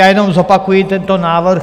Já jenom zopakuji tento návrh.